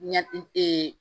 Ɲɛ